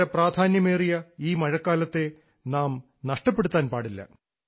വളരെ പ്രാധാന്യമേറിയ ഈ മഴക്കാലത്തെ നാം നഷ്ടപ്പെടുത്താൻ പാടില്ല